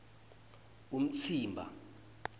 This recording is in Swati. umtsimba